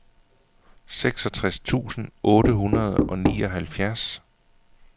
seksogtres tusind otte hundrede og nioghalvfjerds